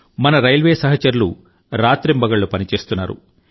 మన రైల్వే సహచరులు రాత్రింబగళ్ళు పని చేస్తున్నారు